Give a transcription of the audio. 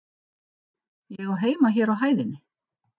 Ég á heima hér á hæðinni.